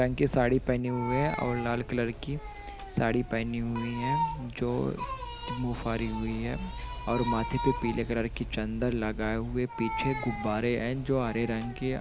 साड़ी पहनी हुई हैं और लाल कलर की साड़ी पहनी हुई हैं जो मुँह फाड़ी हुई हैं और माथे पर पिले कलर की चन्दन लगाये हुये हैं पीछे गुब्बारे हैं जो हरे रंग --।